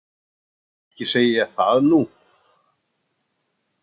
Ekki segi ég það nú.